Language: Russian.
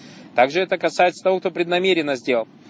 также это касается того кто преднамеренно сделал